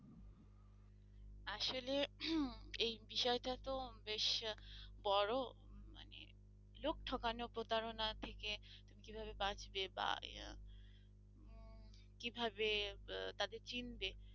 আসলে এই বিষয়টা তো বেশ বড় মানে লোক ঠকানো প্রতারণা থেকে তুমি কিভাবে বাঁচবে বা উম কিভাবে তাদের চিনবে,